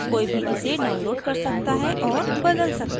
कोई भी इसे download कर सकता है और बदल सकता है